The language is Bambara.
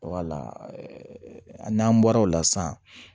n'an bɔra o la san